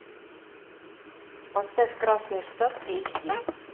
поставь красный штат эйч ди